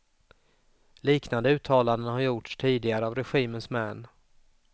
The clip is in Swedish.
Liknande uttalanden har gjorts tidigare av regimens män.